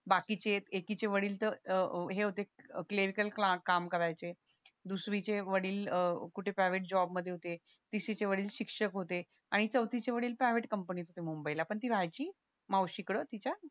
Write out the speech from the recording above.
बाकीचे एकीचे वडील तर अह हे होते क्लीअरीकल काम कराचे दुसरीचे वडील कुठं प्रायव्हेट जॉब मध्ये होते तिसरीचे वडील शिक्षक होते आणि चौथी चे वडील प्रायव्हेट कंपनीत होते मुंबई ला पण ती राहायची मावशी कड तिच्या